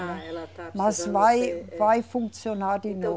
Ela está precisando ser. Mas vai funcionar de novo.